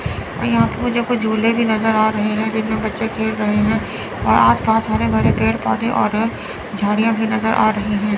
और यहां पे मुझे कुछ झूले भी नज़र आ रहे है जिनमें बच्चे खेल रहे हैं और आस पास हरे भरे पेड़ पौधे और झाड़ियां भी नज़र आ रही हैं।